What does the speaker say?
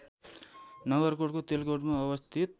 नगरकोटको तेलकोटमा अवस्थित